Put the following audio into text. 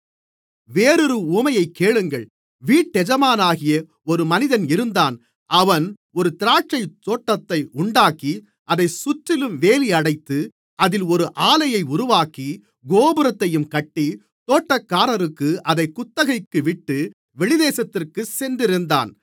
வேறொரு உவமையைக் கேளுங்கள் வீட்டெஜமானாகிய ஒரு மனிதன் இருந்தான் அவன் ஒரு திராட்சைத்தோட்டத்தை உண்டாக்கி அதைச் சுற்றிலும் வேலியடைத்து அதில் ஒரு ஆலையை உருவாக்கி கோபுரத்தையும் கட்டி தோட்டக்காரர்களுக்கு அதைக் குத்தகைக்கு விட்டு வெளிதேசத்திற்குச் சென்றிருந்தான்